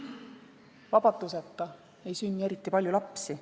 Vabaduseta ei sünni eriti palju lapsi.